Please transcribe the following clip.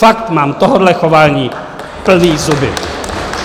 Fakt mám tohoto chování plné zuby!